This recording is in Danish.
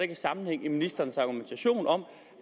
er sammenhæng i ministerens argumentation om